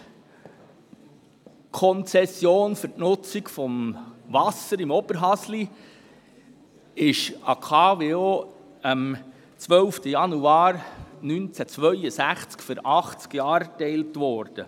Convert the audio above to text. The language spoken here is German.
Die Gesamtkonzession für die Nutzung des Wassers in Oberhasli ist der KWO am 12. Januar 1962 für 80 Jahre erteilt worden.